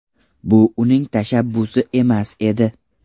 Bu uning tashabbusi emas edi.